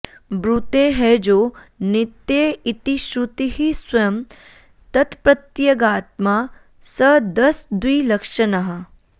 ब्रूते ह्यजो नित्य इति श्रुतिः स्वयं तत्प्रत्यगात्मा सदसद्विलक्षणः